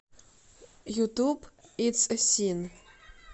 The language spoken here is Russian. ютуб итс э син